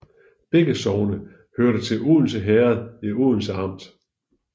Begge sogne hørte til Odense Herred i Odense Amt